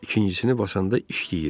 İkincisini basanda işləyir.